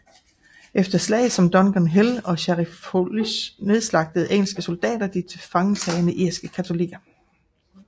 Efter slag som Dungans Hill og Scarrifholis nedslagtede engelske soldater de tilfangetagne irske katolikker